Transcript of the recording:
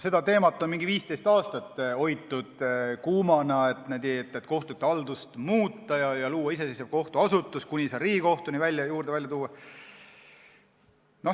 Seda teemat on umbes 15 aastat kuumana hoitud, et kohtute haldust tuleks muuta ja luua iseseisev kohtuasutus kuni Riigikohtuni välja.